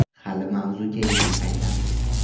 Hali mavzuga yana qaytamiz.